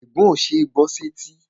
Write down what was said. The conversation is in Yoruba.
Ègún ó ṣeé gbọ́ sẹ́tí